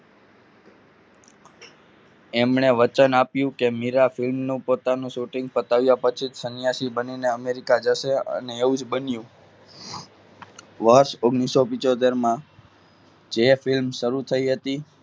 એમણે વચન આપ્યું કે મીરાબેન નું પોતાનું shooting બતાવ્યા પછી સન્યાસી બનીને America જશે અને એવું જ બન્યું વર્ષ ઓગણીસો પીન્ચોતેર માં જે film શરૂ થઈ હતી.